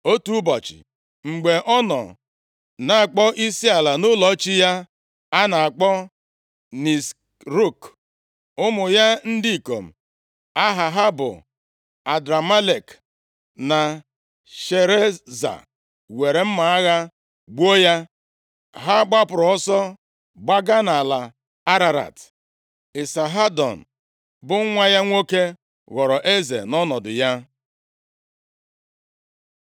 Otu ụbọchị, mgbe ọ nọ na-akpọ isiala nʼụlọ chi ya a na-akpọ Nisrọk, ụmụ ya ndị ikom aha ha bụ Adramelek na Shareza were mma agha gbuo ya. Ha gbapụrụ ọsọ gbaga nʼala Ararat. Isahadon, bụ nwa ya nwoke, ghọrọ eze nʼọnọdụ ya.